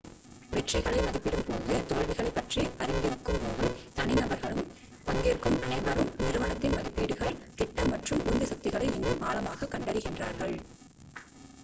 வெற்றிகளை மதிப்பிடும்போதும் தோல்விகளைப் பற்றி அறிந்திருக்கும்போதும் தனிநபர்களும் பங்கேற்கும் அனைவரும் நிறுவனத்தின் மதிப்பீடுகள் திட்டம் மற்றும் உந்து சக்திகளை இன்னும் ஆழமாகக் கண்டறிகிறார்கள்